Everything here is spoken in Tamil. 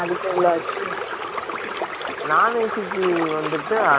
NON AC கு வந்துட்டு அர நூத்தி அம்பது ரூபா